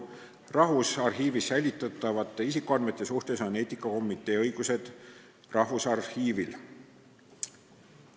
Rahvusarhiivis säilitatavate isikuandmete puhul on eetikakomitee õigused Rahvusarhiivil.